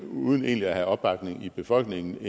uden egentlig at have opbakning i befolkningen